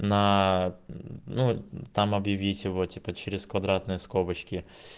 на ну там объявить его типа через квадратные скобочки